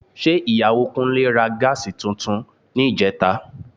Ṣé Ìyàwó Kúnlé ra Gas tuntun níjẹta?